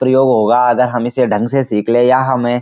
प्रयोग होगा अगर हम इसे ढंग से सीख ले या हमें --